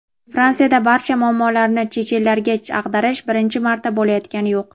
Fransiyada barcha muammolarni chechenlarga ag‘darish birinchi marta bo‘layotgani yo‘q.